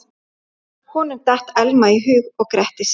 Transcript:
Honum datt Elma í hug og gretti sig.